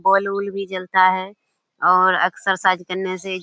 bulb उल्ब भी जलता है और एक्सरसाइज करने से --